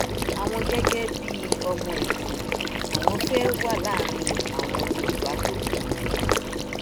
àwọn gẹgẹ bíi ọmọ ẹkọ àwọn fẹẹ wà láàrin àwọn yorùbá tó kù ni o